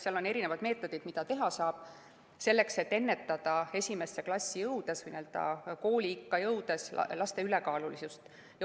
Seal on erinevad meetodid, mida teha saab, selleks et ennetada esimesse klassi jõudvate või kooliikka jõudvate laste ülekaalulisust.